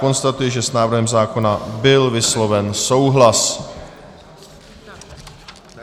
Konstatuji, že s návrhem zákona byl vysloven souhlas.